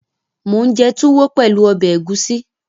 Mò ún jẹ túwó pẹ̀lú ọbẹ̀ ẹ̀gúsí